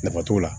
Nafa t'o la